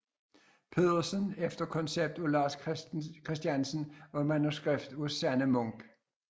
Pedersen efter koncept af Lars Christiansen og manuskript af Sanne Munk